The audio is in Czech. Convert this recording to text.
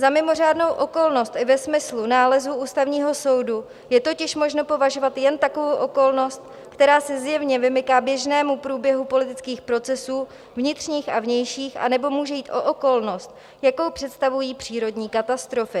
Za mimořádnou okolnost i ve smyslu nálezu Ústavního soudu je totiž možno považovat jen takovou okolnost, která se zjevně vymyká běžnému průběhu politických procesů vnitřních a vnějších, anebo může jít o okolnost, jakou představují přírodní katastrofy.